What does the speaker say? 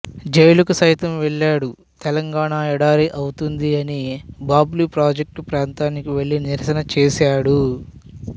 జైలుకు సైతం వెళ్లాడు తెలంగాణ ఎడారి అవుతుంది అని బాబ్లీ ప్రాజెక్టు ప్రాంతానికి వెళ్ళి నిరసన చేశాడు